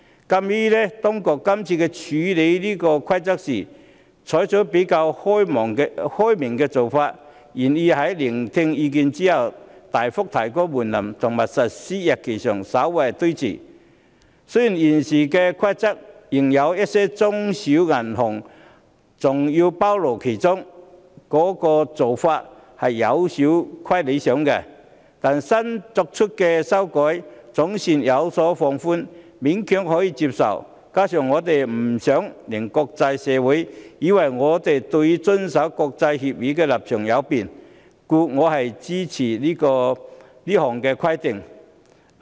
鑒於當局這次在處理這項《規則》時，採取了比較開明的做法，願意在聆聽意見後大幅提高門檻及把實施日期稍為推遲，雖然現時的《規則》仍把一些中小型銀行包括在內，做法有欠理想，但新作出的修改總算有所放寬，勉強可以接受，加上我不想令國際社會以為我們對於遵守國際協議的立場有變，所以我會支持通過《規則》。